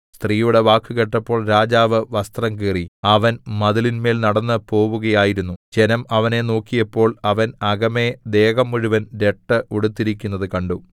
സ്ത്രീയുടെ വാക്ക് കേട്ടപ്പോൾ രാജാവ് വസ്ത്രം കീറി അവൻ മതിലിന്മേൽ നടന്നു പോവുകയായിരുന്നു ജനം അവനെ നോക്കിയപ്പോൾ അവൻ അകമെ ദേഹം മുഴുവൻ രട്ട് ഉടുത്തിരിക്കുന്നത് കണ്ടു